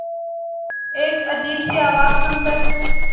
एक अजीब सी आवाज़ सुन कर